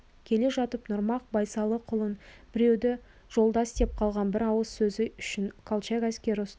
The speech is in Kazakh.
келе жатып нұрмақ байсалықұлын біреуді жолдас деп қалған бір ауыз сөзі үшін колчак әскері ұстап